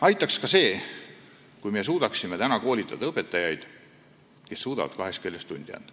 Aitaks ka see, kui me suudaksime koolitada õpetajaid, kes suudavad kahes keeles tundi anda.